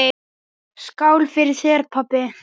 Skál fyrir þér, pabbi!